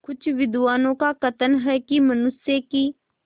कुछ विद्वानों का कथन है कि मनुष्य की